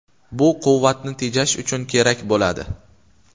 Bu quvvatni tejash uchun kerak bo‘ladi.